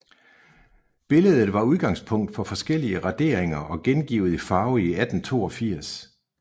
Billedet var udgangspunkt for forskellige raderinger og gengivet i farve i 1882